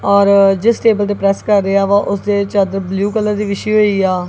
ਔਰ ਜਿਸ ਟੇਬਲ ਤੇ ਪ੍ਰੈੱਸ ਕਰ ਰਿਹਾ ਵਾ ਉਸ ਦੇ ਚਾਦਰ ਬਲੂ ਕਲਰ ਦੀ ਵਿਛੀ ਹੋਈ ਆ।